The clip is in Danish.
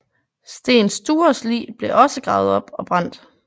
Sten Stures lig blev også gravet op og brændt